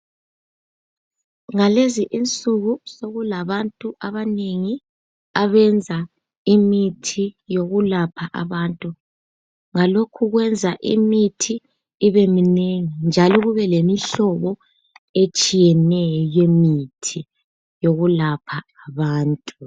Ngalezi insuku sokulabantu abanengi abenza imithi yokulapha abantu, ngalokhu kuyenza imithi ibeminengi njalo kube lemihlobo etshiyeneyo yemithi yokulapha abantu